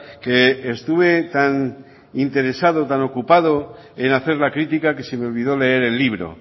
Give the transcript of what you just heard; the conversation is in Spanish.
que estuve tan interesado tan ocupado en hacer la crítica que se me olvidó leer el libro